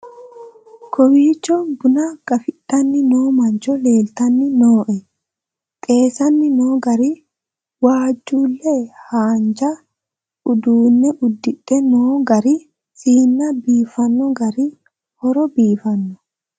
kowiicho buna gafidhanni noo mancho leeltanni nooe xeessanni noo gari waajjulle haamja uduunne uddidhe noo gari siinna biffanno gari horo biifanno